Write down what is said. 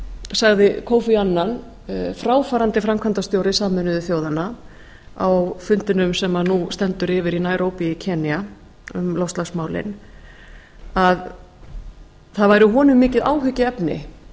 sagði kofi annan fráfarandi framkvæmdastjóri sameinuðu þjóðanna á fundinum sem nú stendur yfir í nairobi í enda um loftslagsmálin að það væri honum mikið áhyggjuefni